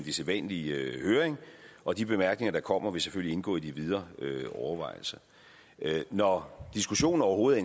i sædvanlig høring og de bemærkninger der kommer vil selvfølgelig indgå i de videre overvejelser når diskussionen overhovedet